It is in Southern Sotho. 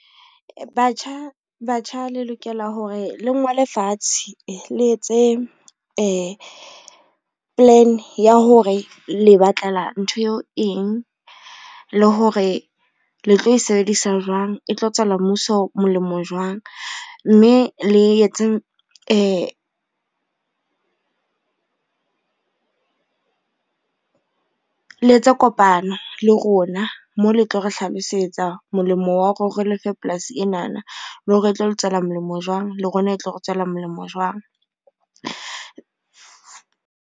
Batjha, batjha le lokela hore le ngole fatshe, le etse plan hore le batlela ntho eo eng, le hore le tlo e sebedisa jwang e tlo tswela mmuso molemo jwang, mme le etse kopano le rona mo le tlo re hlalosetsa molemo wa hore re lefe polasi enana, le hore e tlo le tswela molemo jwang, le rona e tlo re tswela molemo jwang.